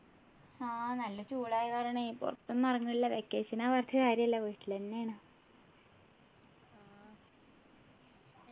ആഹ് നല്ല ചൂടായ കാരണെ പുറത്തു ഒന്നും ഇറങ്ങലില്ല vacation ആ പറഞ്ഞിട്ട് കാര്യമില്ല വീട്ടിലെന്നെ ആണ്